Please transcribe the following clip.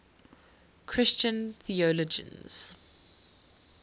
christian theologians